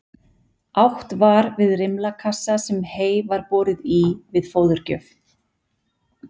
Átt var við rimlakassa sem hey var borið í við fóðurgjöf.